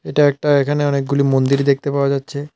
এটা একটা এখানে অনেকগুলি মন্দির দেখতে পাওয়া যাচ্ছে।